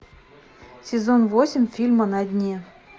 сезон восемь фильма на дне